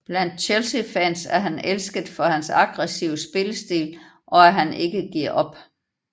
Blandt Chelseafans er han elsket for hans aggressive spillestil og at han ikke giver op